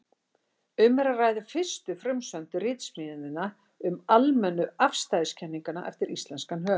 Um er að ræða fyrstu frumsömdu ritsmíðina um almennu afstæðiskenninguna eftir íslenskan höfund.